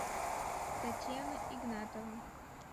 татьяна игнатова